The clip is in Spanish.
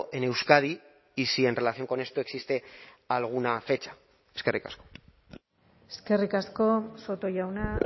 en euskadi y si en relación con esto existe alguna fecha eskerrik asko eskerrik asko soto jauna